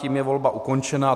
Tím je volba ukončena.